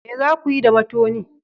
Me za ku yi da matoni?